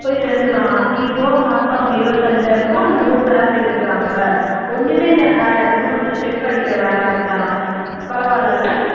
போய் சேர்ந்து இருக்காங்களாம் இப்போ மாசம் இருபத்தைந்தாயிரமோ என்னவோ salary எடுக்குறாங்க ஒண்ணுமே இல்லையாம் வேலை வெறும் அந்த check அடிக்கிற வேலை அப்படித்தானாம் பரவாயில்லை இல்லை